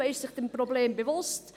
Man ist sich des Problems bewusst.